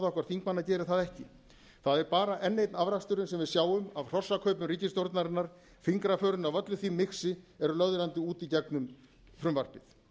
okkar þingmanna hér gerir það ekki það er bara enn einn afraksturinn sem við sjáum af hrossakaupum ríkisstjórnarinnar fingraförin af öllu því mixi eru löðrandi út í gegnum frumvarpið